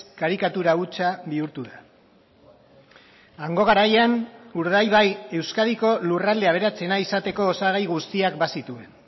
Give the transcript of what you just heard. karikatura hutsa bihurtu da hango garaian urdaibai euskadiko lurralde aberatsena izateko osagai guztiak bazituen